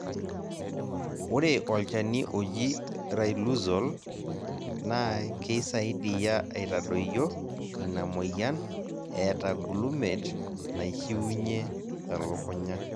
ORE olchani oji Riluzole naa keisaidia aitadoyio ina moyian eeta glumate naishiunye elukunya